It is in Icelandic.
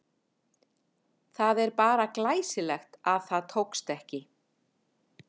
Það er bara glæsilegt að það tókst ekki!